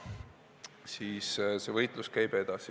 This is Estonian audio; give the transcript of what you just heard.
Seega see võitlus käib edasi.